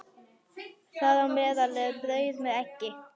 Þar á meðal er brauð með eggi.